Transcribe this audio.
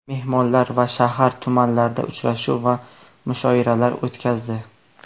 Mehmonlar shahar va tumanlarda uchrashuv va mushoiralar o‘tkazdi.